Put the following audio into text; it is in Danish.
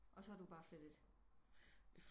Og så er du bare flyttet